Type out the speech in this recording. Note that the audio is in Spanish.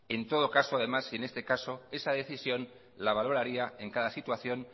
en todo caso además y en este caso esa decisión la valoraría en cada situación